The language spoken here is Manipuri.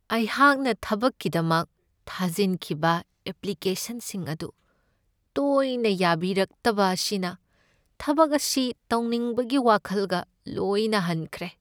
ꯑꯩꯍꯥꯛꯅ ꯊꯕꯛꯀꯤꯗꯃꯛ ꯊꯥꯖꯤꯟꯈꯤꯕ ꯑꯦꯄ꯭ꯂꯤꯀꯦꯁꯟꯁꯤꯡ ꯑꯗꯨ ꯇꯣꯏꯅ ꯌꯥꯕꯤꯔꯛꯇꯕ ꯑꯁꯤꯅ ꯊꯕꯛ ꯑꯁꯤ ꯇꯧꯅꯤꯡꯕꯒꯤ ꯋꯥꯈꯜꯒ ꯂꯣꯏꯅ ꯍꯟꯈ꯭ꯔꯦ ꯫